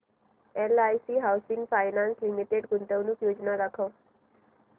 LIC housing finance limited गुंतवणूक योजना दाखव